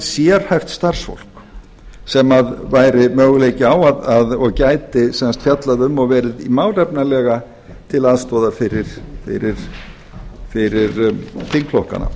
sérhæft starfsfólk sem væri möguleiki á og gæti sem sagt fjallað um og verið málefnalega til aðstoðar fyrir þingflokkana